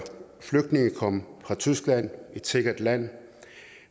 flygtninge kom fra tyskland et sikkert land